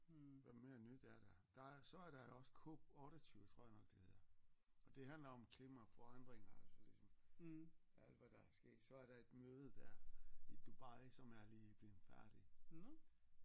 Hvad mere nyt er der der er så er der også COP28 tror jeg nok det hedder og det handler om klimaforandringer altså ligesom alt hvad der er sket så er der et møde der i Dubai som er lige blevet færdig